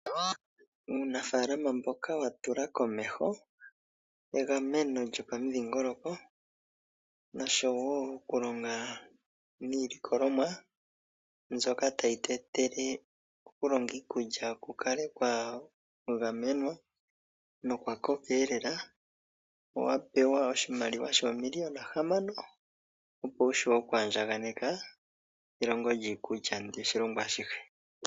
Uunafaalama mboka wa tula komeho egameno lyomudhingoloko noshowo okulonga niilikolomwa mbyoka tayi tu etele okulonga iikulya ku kale kwa gamenwa nokwa koka lela owa pewa oshimaliwa shoomiliyona hamano, opo wu vule oku andjakaneka elongo lyiikulya ndika oshilongo ashihe.